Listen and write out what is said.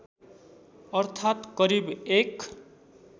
अर्थात् करिब १